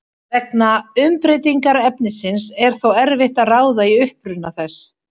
Vegna umbreytingar efnisins er þó erfitt að ráða í uppruna þess.